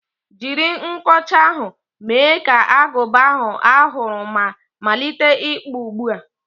Jiri nkọcha ahụ, mee ka agụba ahụ a hụrụ ma malite ịkpụ ugbu a!